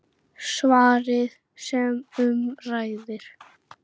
Svarið sem um ræðir